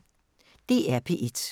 DR P1